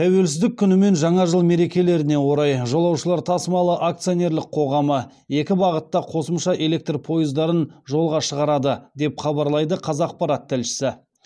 тәуелсіздік күні мен жаңа жыл мерекелеріне орай жолаушылар тасымалы акционерлік қоғамы екі бағытта қосымша электр пойыздарын жолға шығарады деп хабарлайды қазақпарат тілшісі